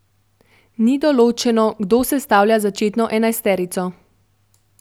Ni določeno, kdo sestavlja začetno enajsterico.